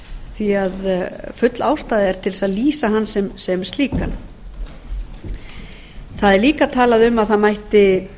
því að full ástæða er til þess að lýsa hann sem slíkan það er líka talað um að það mætti